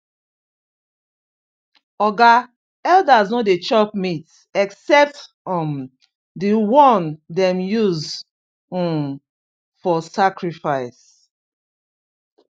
oga elders no dey chop meat except um the one dem use um for sacrifice